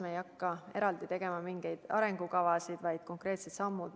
Me ei hakka eraldi tegema mingeid arengukavasid, vaid astume konkreetsed sammud.